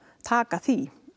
taka því